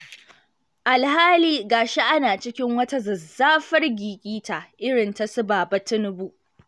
Alhali ga shi ana cikin wata zazzafar gigita irin ta su Baba Tinubu!